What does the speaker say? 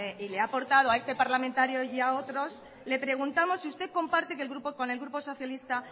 y le ha aportado a este parlamentario y a otros le preguntamos si usted comparte con el grupo socialista